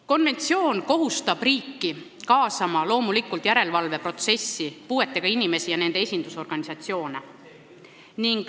Konventsioon kohustab riiki loomulikult järelevalveprotsessi kaasama puuetega inimesi ja nende esindusorganisatsioone.